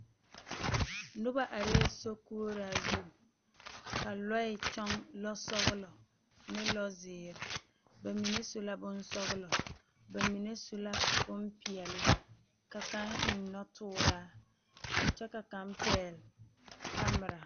Noba are sokoɔraa zu ka lɔɛ toɔ lɔ sɔglɔ ne lɔ ziiri bamine su la bonsɔglɔ, bamine su bonpeɛle ka kaŋ eŋ noɔtuuraa kyɛ ka kaŋ pegle kammire.